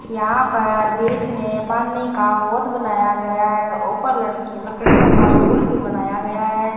यहां पर बीच में पानी का वोट बनाया गया है ऊपर लड़की लकड़ियों का पूल भी बनाया गया है।